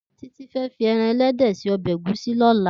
Titi fè fi èràn èlèdè sé òbè égùsí lòlá